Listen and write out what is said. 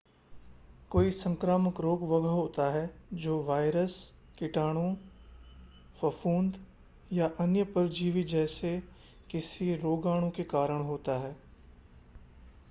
कोई संक्रामक रोग वह होता है जो वायरस कीटाणु फफूंद या अन्य परजीवी जैसे किसी रोगाणु के कारण होता है